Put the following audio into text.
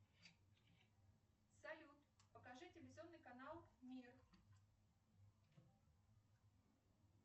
салют покажи телевизионный канал мир